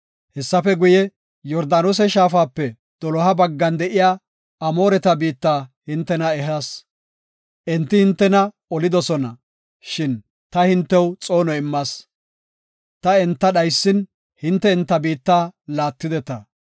Hessafe guye, Yordaanose shaafape doloha baggan de7iya Amooreta biitta hintena ehas. Enti hintena olidosona, shin ta hintew xoono immas. Ta enta dhaysin, hinte enta biitta laattideta.